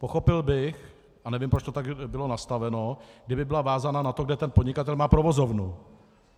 Pochopil bych - a nevím, proč to tak bylo nastaveno -, kdyby byla vázána na to, kde ten podnikatel má provozovnu.